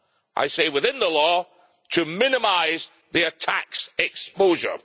I say within the law to minimise their tax exposure.